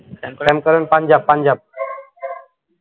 same Karan Punjab Punjab